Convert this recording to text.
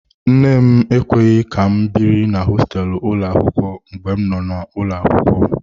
Nne m ekweghị ka m biri na hosteelu ụlọ akwụkwọ mgbe m nọ n'ụlọ akwụkwọ.